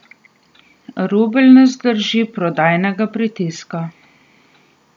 Rubelj ne zdrži prodajnega pritiska.